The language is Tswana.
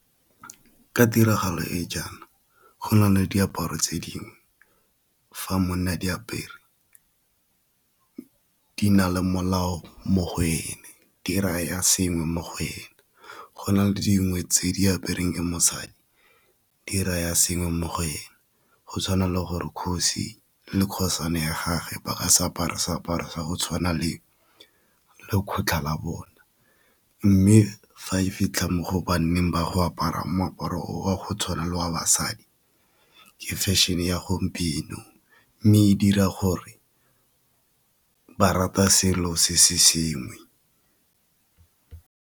Ka tiragalo e jaana go na le diaparo tse dingwe fa monna a di apere di na le molao mo go ene di raya sengwe mo go ene, go na le dingwe tse di aperweng mosadi di raya senye mo go ene, go tshwana le gore kgosi le kgosana ya gage ba ka se apare seaparo sa go tshwana le lekgotlha la bona, mme fa e fitlha mo go bonneng ba go apara moaparo o wa go tshwana le wa basadi ke fashion-e ya gompieno mme e dira gore ba rata selo se se sengwe.